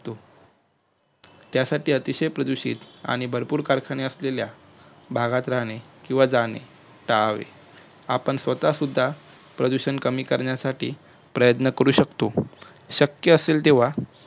त्यासाठी अतिशय प्रदूषित आणि भरपूर कारखान्या असलेल्या भागात राहणे किंवा जाणे टाळावे आणि आपण स्वतः सुद्धा प्रदूषण कमी करण्यासाठी पर्यंत्न करू शकतो शक्य असले तेव्हा